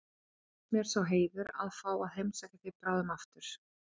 Hlotnast mér sá heiður að fá að heimsækja þig bráðum aftur